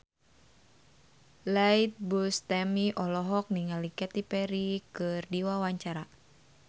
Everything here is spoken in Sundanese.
Iyeth Bustami olohok ningali Katy Perry keur diwawancara